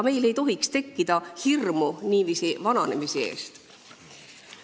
Meil ei tohiks tekkida hirmu vananemise ees.